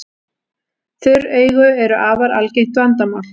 Þurr augu eru afar algengt vandamál.